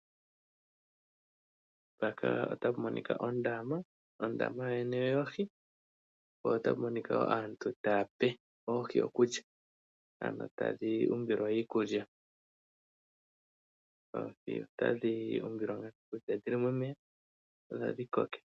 Mpaka otapu monika ondama, ondama yo yene oyoohi, po otapu monikwa yoo aantu tayape oohi okulya, ano tadhi umbilwa iikulya. Oohi otadhi umbilwa iikulya dhili momeya opo dhi koke.